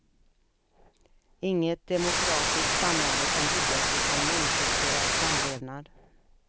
Inget demokratiskt samhälle kan byggas utan mångkulturell samlevnad.